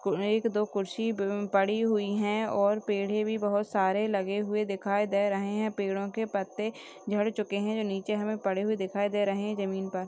एक दो कुर्सी पड़ी हुई हैंऔर पेड़हे भी बहुत सारी लगे हुए दिखाई दे रहे हैं पेड़ों के पत्ते झड़ चुके हैं जो नीचे हमे पड़े हुए दिखाई दे रहे हैं जमीन पर।